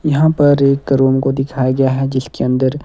यहां पर एक रूम को दिखाया गया है जिसके अंदर--